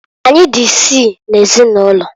Anyị dị isii n'ezinụlọ.